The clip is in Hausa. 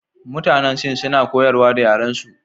Mutanen Sin suna koyarwa da yarensu.